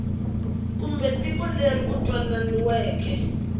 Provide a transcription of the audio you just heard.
kumbe tiko leri ku twanananiweke